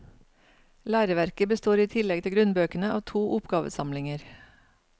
Læreverket består i tillegg til grunnbøkene av to oppgavesamlinger.